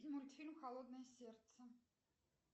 мультфильм холодное сердце